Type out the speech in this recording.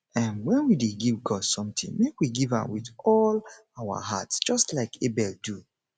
um wen we dey give god something make we give am with all our heart just like abel do